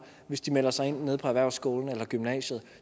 hvis de melder sig ind nede på erhvervsskolen eller i gymnasiet